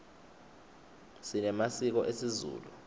sinemasiko esizulu